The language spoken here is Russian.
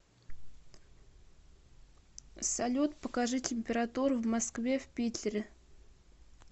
салют покажи температуру в москве в питере